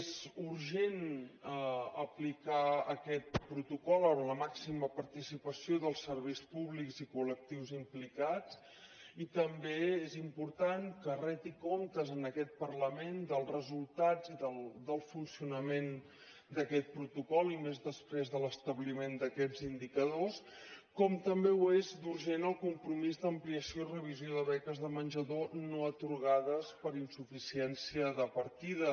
és urgent aplicar aquest protocol amb la màxima participació dels serveis públics i colimportant que reti comptes en aquest parlament dels resultats i del funcionament d’aquest protocol i més després de l’establiment d’aquests indicadors com també ho és d’urgent el compromís d’ampliació i revisió de beques de menjador no atorgades per insuficiència de partida